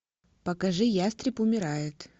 покажи ястреб умирает